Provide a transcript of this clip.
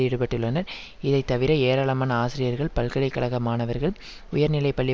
ஈடுபட்டுள்ளனர் இதைத்தவிர ஏராளமான ஆசிரியர்கள் பல்கலை கழக மாணவர்கள் உயர்நிலை பள்ளி